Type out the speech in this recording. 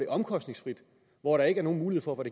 omkostningsfrit hvor der ikke er nogen mulighed for at